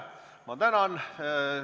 Ma tänan!